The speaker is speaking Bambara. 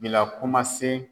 Bila kumasen